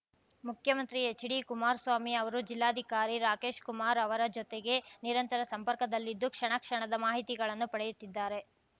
ಮುಖ್ಯಮಂತ್ರಿ ಎಚ್‌ಡಿಕುಮಾರಸ್ವಾಮಿ ಅವರು ಜಿಲ್ಲಾಧಿಕಾರಿ ರಾಕೇಶ್‌ ಕುಮಾರ್ ಅವರ ಜೊತೆಗೆ ನಿರಂತರ ಸಂಪರ್ಕದಲ್ಲಿದ್ದು ಕ್ಷಣ ಕ್ಷಣದ ಮಾಹಿತಿಗಳನ್ನು ಪಡೆಯುತ್ತಿದ್ದಾರೆ